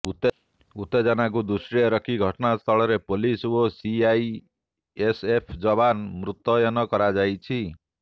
ଉତ୍ତେଜନାକୁ ଦୃଷ୍ଟିରେ ରଖି ଘଟଣାସ୍ଥଳରେ ପୋଲିସ ଓ ସିଆଇଏସଏଫ ଯବାନ ମୁତୟନ କରାଯାଇଛି